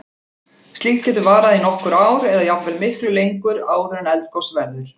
Slíkt getur varað í nokkur ár eða jafnvel miklu lengur, áður en eldgos verður.